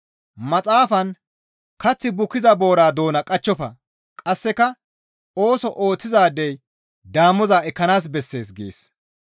Maxaafan, «Kath bukkiza boora doona qachchofa.» qasseka, «Ooso ooththizaadey damoza ekkana bessees» gees.